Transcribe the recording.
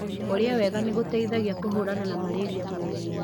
Kũria wega nĩgũteithagia kũhũrana na malaria mwĩrĩinĩ.